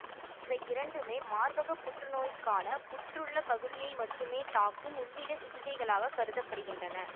இவை இரண்டுமே மார்பகப் புற்றுநோய்க்கான புற்றுள்ள பகுதியை மட்டுமே தாக்கும் உள்ளிட சிகிச்சைகளாக கருத படுகின்றன